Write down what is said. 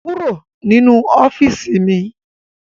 Kúrò nínú ọ́fíìsì mi!